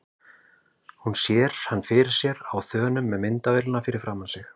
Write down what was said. Hún sér hann fyrir sér á þönum með myndavélina fyrir framan sig.